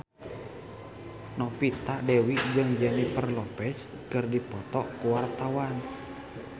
Novita Dewi jeung Jennifer Lopez keur dipoto ku wartawan